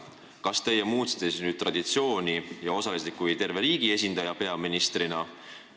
Kas teie muutsite nüüd traditsiooni ja osalesite seal terve riigi esindajana, peaministrina?